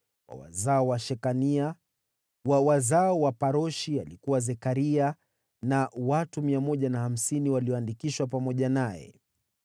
wa wazao wa Shekania; wa wazao wa Paroshi, alikuwa Zekaria, na watu 150 walioandikishwa pamoja naye;